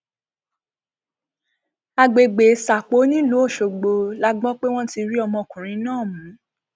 àgbègbè sápó nílùú ọṣọgbò la gbọ pé wọn ti rí ọmọkùnrin náà mú